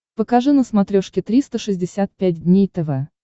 покажи на смотрешке триста шестьдесят пять дней тв